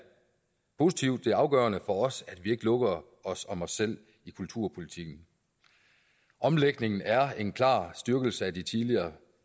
positivt det er afgørende for os at vi ikke lukker os om os selv i kulturpolitikken omlægningen er en klar styrkelse af de tidligere